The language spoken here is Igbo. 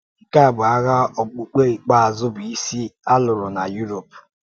Nke a bụ ághà okpùkpe ikpeazụ bụ́ isi a lụrụ na Europe.